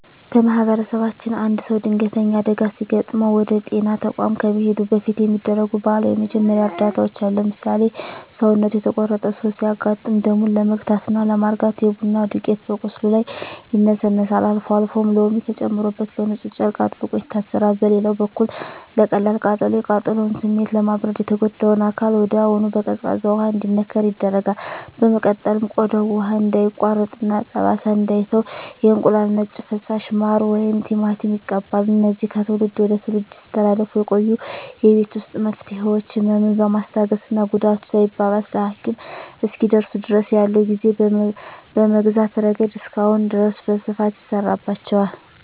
በማኅበረሰባችን አንድ ሰው ድንገተኛ አደጋ ሲገጥመው ወደ ጤና ተቋም ከመሄዱ በፊት የሚደረጉ ባህላዊ የመጀመሪያ እርዳታዎች አሉ። ለምሳሌ፣ ሰውነቱ የተቆረጠ ሰው ሲያጋጥም ደሙን ለመግታትና ለማርጋት የቡና ዱቄት በቁስሉ ላይ ይነሰነሳል፤ አልፎ አልፎም ሎሚ ተጨምቆበት በንፁህ ጨርቅ አጥብቆ ይታሰራል። በሌላ በኩል ለቀላል ቃጠሎ፣ የቃጠሎውን ስሜት ለማብረድ የተጎዳው አካል ወዲያውኑ በቀዝቃዛ ውሃ እንዲነከር ይደረጋል። በመቀጠልም ቆዳው ውሃ እንዳይቋጥርና ጠባሳ እንዳይተው የእንቁላል ነጭ ፈሳሽ፣ ማር ወይም ቲማቲም ይቀባል። እነዚህ ከትውልድ ወደ ትውልድ ሲተላለፉ የቆዩ የቤት ውስጥ መፍትሄዎች፣ ህመምን በማስታገስና ጉዳቱ ሳይባባስ ለሐኪም እስኪደርሱ ድረስ ያለውን ጊዜ በመግዛት ረገድ እስካሁን ድረስ በስፋት ይሠራባቸዋል።